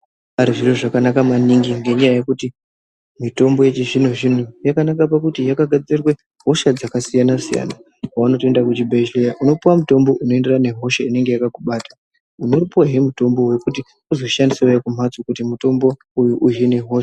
Pane zviro zvakanaka maningi ngenda yekuti mitombo yechizvino zvino yakanakira pakuti yakagadzirirwe kurapa hosha dzakasiyana siyana .Paunoenda kuchibhedhlera unopuwa mutombo inoenderana nehosha inenge yakakubata unopuwawo mutombo wekuti uzoshandisawo kumbatso kuti mutombo uyu .